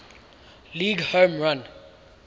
league home run